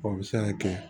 O bɛ se ka kɛ